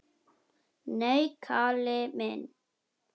Nei, Kalli minn.